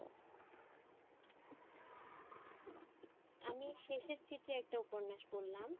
আমি শেষের চিঠি একটা উপন্যাস পড়লাম।